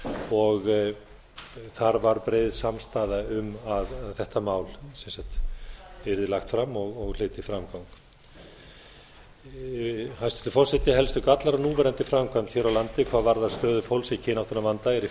og þar var breið samstaða um að þetta mál sem sagt yrði lagt fram og hlyti framgang hæstvirtur forseti helstu gallar á núverandi framkvæmd hér á landi hvað var stöðu fólks í kynáttunarvanda er í